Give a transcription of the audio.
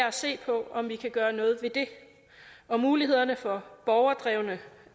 at se på om vi kan gøre noget ved det og mulighederne for